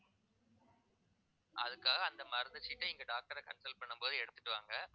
அதுக்காக அந்த மருந்து சீட்டை இங்க doctor அ consult பண்ணும் போது எடுத்திட்டு வாங்க